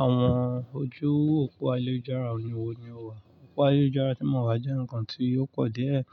Àwọn ojú òpó àyélujárà wò ní o wà? Òpó àyélujárà tí mo wá jẹ́ ǹkan tí ó pọ̀ díẹ̀.